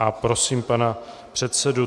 A prosím pana předsedu.